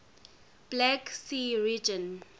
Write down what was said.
black sea region